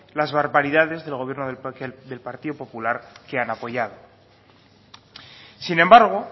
las barbaridades del gobierno del partido popular que han apoyado sin embargo